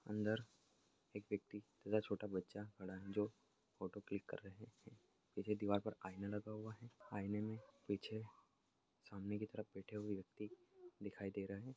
अंदर एक व्यक्ति छोटा बच्चा खड़ा है जो फोटो क्लिक कर रहे है पीछे दीवार पर आईना लगा हुआ है आइने मे पीछे सामने की तरफ बैठे हुए व्यक्ति दिखाई दे रहे--